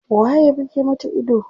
Waye ya buge mata ido?